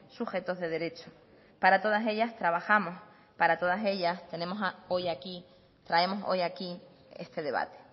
sujetos de derecho para todas ellas trabajamos para todas ellas tenemos hoy aquí traemos hoy aquí este debate